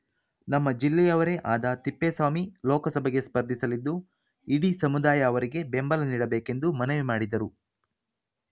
ನಮ್ಮ ಜಿಲ್ಲೆಯವರೇ ಆದ ತಿಪ್ಪೇಸ್ವಾಮಿ ಲೋಕಸಭೆಗೆ ಸ್ಪರ್ಧಿಸಲಿದ್ದು ಇಡೀ ಸಮುದಾಯ ಅವರಿಗೆ ಬೆಂಬಲ ನೀಡಬೇಕೆಂದು ಮನವಿ ಮಾಡಿದರು